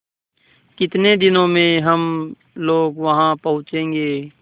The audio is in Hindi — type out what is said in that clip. कितने दिनों में हम लोग वहाँ पहुँचेंगे